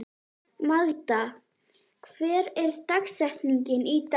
Magda, hver er dagsetningin í dag?